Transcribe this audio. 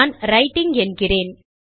நான் ரைட்டிங் என்கிறேன்